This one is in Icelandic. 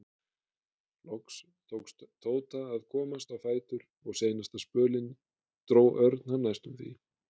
Loks tókst Tóta að komast á fætur og seinasta spölinn dró Örn hann næstum því.